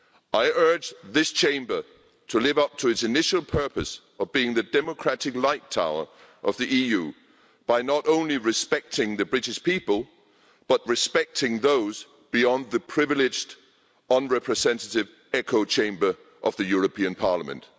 I urge this Chamber to live up to its initial purpose of being the democratic light tower of the EU, by not only respecting the British people but respecting those beyond the privileged, unrepresentative, echo chamber of the European Parliament.